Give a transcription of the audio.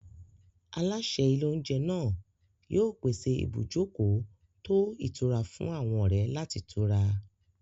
Aláṣẹ ilé-oúnjẹ náà yóò pèsè ibùjókòó tó ìtura fún àwọn ọ̀rẹ́ láti tura.